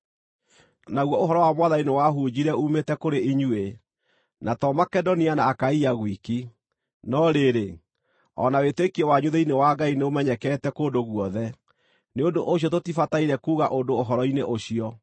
Naguo ũhoro wa Mwathani nĩwahunjire uumĩte kũrĩ inyuĩ, na to Makedonia na Akaia gwiki, no rĩrĩ, o na wĩtĩkio wanyu thĩinĩ wa Ngai nĩũmenyekete kũndũ guothe. Nĩ ũndũ ũcio tũtibataire kuuga ũndũ ũhoro-inĩ ũcio,